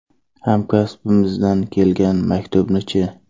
Hamkasbimizdan kelgan maktubni-chi?